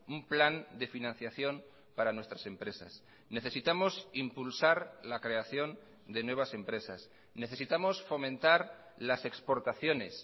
un plan de financiación para nuestras empresas necesitamos impulsar la creación de nuevas empresas necesitamos fomentar las exportaciones